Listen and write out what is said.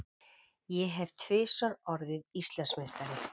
Ég hef tvisvar orðið Íslandsmeistari.